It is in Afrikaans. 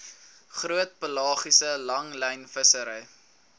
groot pelagiese langlynvissery